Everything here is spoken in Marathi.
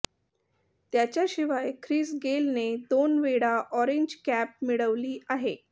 त्याच्याशिवाय ख्रिस गेलने दोन वेळा ऑरेंज कॅप मिळवली आहे